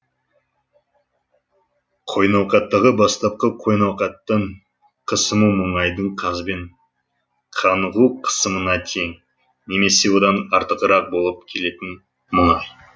қойнауқаттағы бастапқы қойнауқаттың қысымы мұнайдың газбен қанығу қысымына тең немесе одан артығырақ болып келетін мұнай